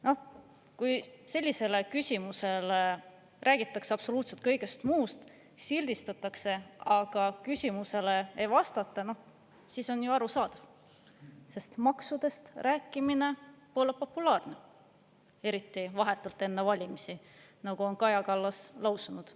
Noh, kui sellisele küsimusele vastuseks räägitakse absoluutselt kõigest muust ja sildistatakse, aga küsimusele ei vastata, siis on ju arusaadav, sest maksudest rääkimine pole populaarne, eriti vahetult enne valimisi, nagu on Kaja Kallas lausunud.